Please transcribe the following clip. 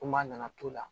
Ko maa nana to o la